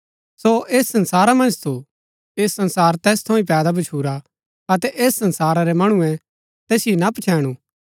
सो ऐस संसारा मन्ज थू ऐह संसार तैस थऊँ ही पैदा भच्छुरा अतै ऐस संसारा रै मणुऐ तैसिओ ना पच्छैणु